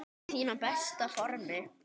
Ertu í þínu besta formi?